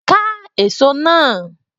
Ká èso náà